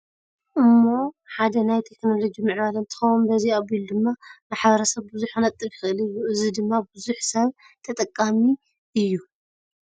እሞ ሓደ ናይ ቴክኖሎጂ ምዕባለ እንትከውን በዚ ኣቢሉ ድማ ማሕበረ ሰብ ቡዙሕ ክነጥፍ ይክእል እዩ። እዚ ድማ ቡዙሕ ሰብ ተጠቃሚ ኣዎ።